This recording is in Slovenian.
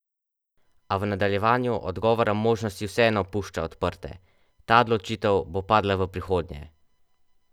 A v nadaljevanju odgovora možnosti vseeno pušča odprte: 'Ta odločitev bo padla v prihodnje.